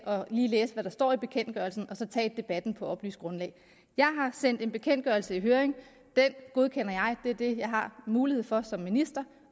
lige at læse hvad der står i bekendtgørelsen og så tage debatten på et oplyst grundlag jeg har sendt en bekendtgørelse i høring den godkender jeg det er det jeg har mulighed for som minister